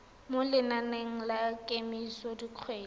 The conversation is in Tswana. mo lenaneng la kemiso dikgwedi